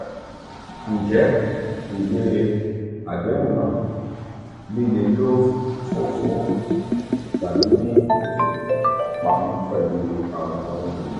um njẹ iwe adehun naa “lilefoofo” um tabi ni ifipamo pẹlu awọn ohun-ini?